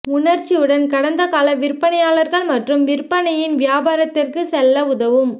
உணர்ச்சியுடன் கடந்த கால விற்பனையாளர் மற்றும் விற்பனையின் வியாபாரத்திற்கு செல்ல உதவும்